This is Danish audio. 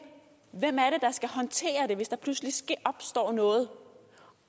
hvem er det der skal håndtere det hvis der pludselig opstår noget